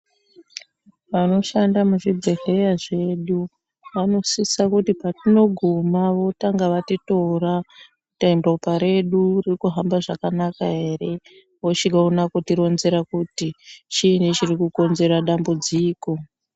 Vanoshanda muzvibhedhlera zvedu vanosisa kuti patinogona votanga vatitora kuti ropa redu rinohamba zvakanaka here vochiona kuti ronzera kuti chini chiri kukonzera dambudziko.